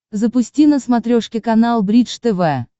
запусти на смотрешке канал бридж тв